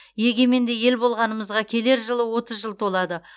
егеменді ел болғанымызға келер жылы отыз жыл толады